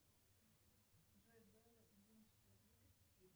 джой белла ильинишна любит детей